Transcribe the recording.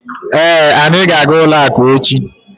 Èé, anyị ga aga ụlọ akụ echi